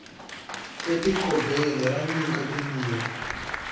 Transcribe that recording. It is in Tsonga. e ti kobeni ra nyika tinyiko